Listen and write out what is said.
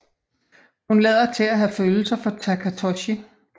Hun lader til at have følelser for Takatoshi